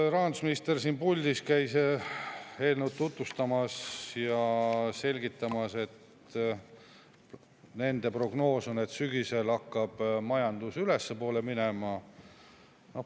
Rahandusminister käis siin puldis eelnõu tutvustamas ja selgitamas: nende prognoos on, et sügisel hakkab majandus ülespoole minema.